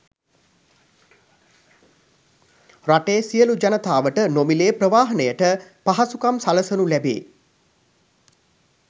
රටේ සියලු ජනතාවට නොමිලේ ප්‍රවාහනයට පහසුකම් සලකනු ලැබේ.